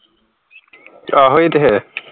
ਆਹੋ ਇਹ ਤੇ ਹੈ